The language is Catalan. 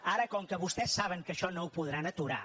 ara com que vostès saben que això no ho podran aturar